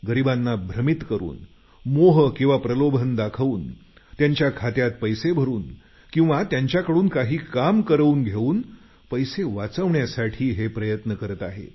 गरिबांना भ्रमीत करून मोह किंवा प्रलोभन दाखवून त्यांच्या खात्यात पैसे भरून किंवा त्यांच्याकडून काही काम करवून घेऊन पैसे वाचवण्यासाठी प्रयत्न करत आहेत